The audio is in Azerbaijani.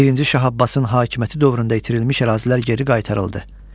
Birinci Şah Abbasın hakimiyyəti dövründə itirilmiş ərazilər geri qaytarıldı.